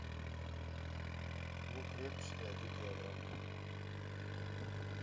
лук репчатый один килограмм